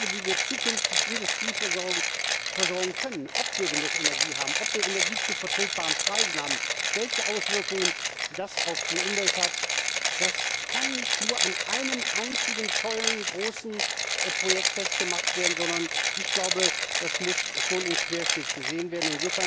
Die Fragen, wie wir zukünftig die Industrie versorgen können, ob wir genug Energie haben, ob wir Energie zu vertretbaren Preisen haben, welche Auswirkungen das auf die Umwelt hat, können nicht nur an einem einzigen tollen, großen Projekt festgemacht werden, sondern müssen schon im Querschnitt gesehen werden.